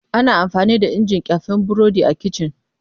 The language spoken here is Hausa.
Ana amfani da injin ƙyafe burodi a kici.